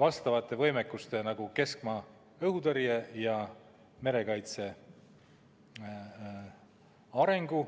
vastavate võimekuste nagu keskmaa õhutõrje ja merekaitse arengu.